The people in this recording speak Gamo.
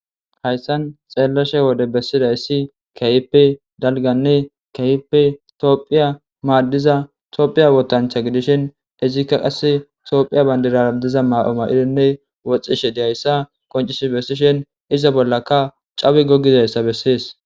Hayssan xeellashe wode bessidayssi kayipe dalganne kayipe toophiya maaddiza toophiya wotancha gidishen izikka qasse toophiya bayndirardiza ma'oma'idonne woxxishe diyayssa qoncis bessishen iza bollaka cawi gogidayssa bessees.